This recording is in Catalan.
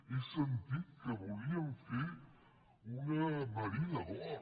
he sentit que volíem fer una marina d’or